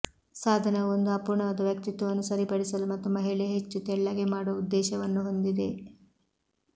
ಸಾಧನವು ಒಂದು ಅಪೂರ್ಣವಾದ ವ್ಯಕ್ತಿತ್ವವನ್ನು ಸರಿಪಡಿಸಲು ಮತ್ತು ಮಹಿಳೆ ಹೆಚ್ಚು ತೆಳ್ಳಗೆ ಮಾಡುವ ಉದ್ದೇಶವನ್ನು ಹೊಂದಿದೆ